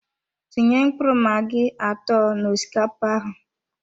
Tinye mkpụrụ magi atọ na osikapa ahụ